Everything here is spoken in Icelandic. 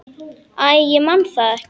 Æ, ég man það ekki.